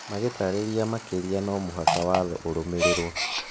Magĩtarĩria makĩria no mũhaka watho ũrũmĩrĩrwo.